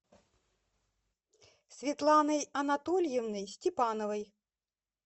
светланой анатольевной степановой